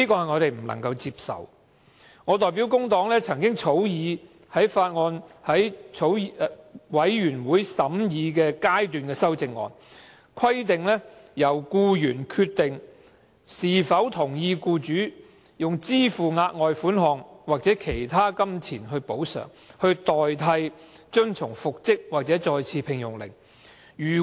我曾代表工黨草擬委員會審議階段修正案，規定由僱員決定是否同意僱主支付額外款項或作其他金錢補償，以代替遵從復職或再次聘用令。